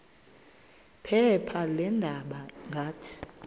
phepha leendaba ngathi